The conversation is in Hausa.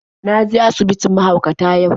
Na je asibitin mahaukata yau.